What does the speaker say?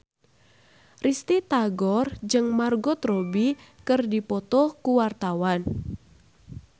Risty Tagor jeung Margot Robbie keur dipoto ku wartawan